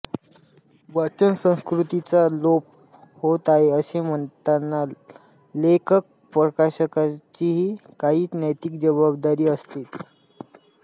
वाचन संस्कृतीचा लोप होत आहे असे म्हणताना लेखकप्रकाशकांचीही काही नैतिक जबाबदारी असतेच